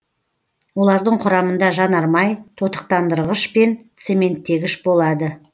олардың құрамында жанармай тотықтандырғыш пен цементтегіш болады